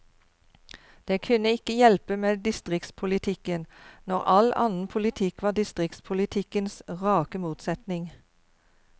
Det kunne ikke hjelpe med distriktspolitikken, når all annen politikk var distriktspolitikkens rake motsetning.